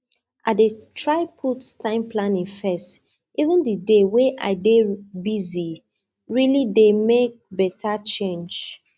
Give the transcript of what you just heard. i dey try put time planning first even di day way i dey busye really dey make better change